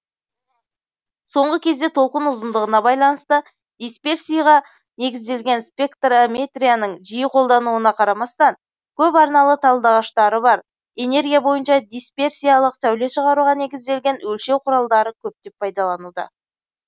соңғы кезде толқын ұзындығына байланысты дисперсиға негізделген спектрометрияның жиі қолдануына қарамастан көп арналы талдағыштары бар энергия бойынша дисперсиялык сәуле шығаруға негізделген өлшеу құралдары көптеп пайдаланылуда